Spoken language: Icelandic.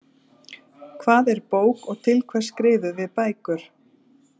Hvað er bók og til hvers skrifum við bækur?